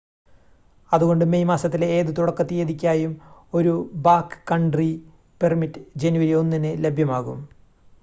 അതുകൊണ്ട് മേയ് മാസത്തിലെ ഏത് തുടക്ക തീയതിക്കായും ഒരു ബാക്ക്‌കൺട്രി പെർമിറ്റ് ജനുവരി 1-ന് ലഭ്യമാകും